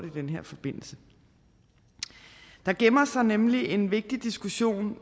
i den her forbindelse der gemmer sig nemlig en vigtig diskussion